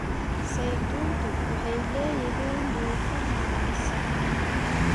Saytuuntu waxay leeyihiin dufan wanaagsan.